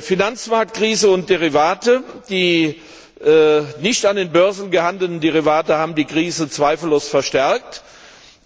Finanzmarktkrise und Derivate, die nicht an den Börsen gehandelt werden, haben die Krise zweifellos verstärkt.